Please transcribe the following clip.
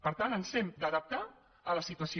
per tant ens hem d’adaptar a la situació